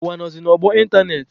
Ụwa nọzị n'ọgbọ ịntanetị.